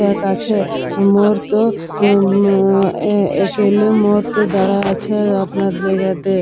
এক আছে মোর্তো আ উম একেলে মোর্তো দাঁড়ায়ে আছে আপনার জায়গাতে।